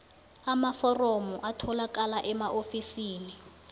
amaforomo atholakala emaofisini